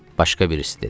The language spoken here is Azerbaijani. Başqa birisi dedi.